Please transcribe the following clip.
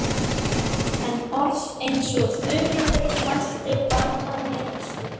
En orð eins og Þuríður mælti banna mér slíkt.